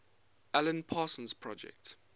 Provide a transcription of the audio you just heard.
alan parsons project